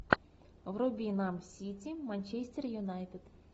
вруби нам сити манчестер юнайтед